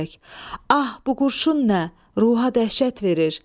Ah, bu qurşun nə, ruha dəhşət verir.